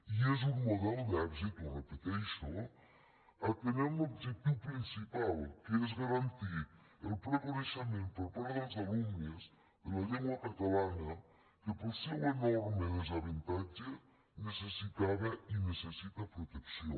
i és un model d’èxit ho repeteixo atenent l’objectiu principal que és garantir el ple coneixement per part dels alumnes de la llengua catalana que pel seu enorme desavantatge necessitava i necessita protecció